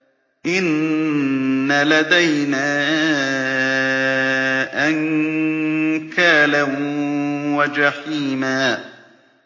إِنَّ لَدَيْنَا أَنكَالًا وَجَحِيمًا